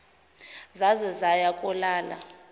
zaze zaya kolala